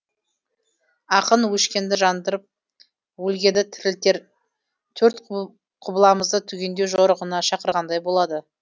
ақын өшкенді жандырып өлгенді тірілтер төрт құбыламызды түгендеу жорығына шақырғандай болады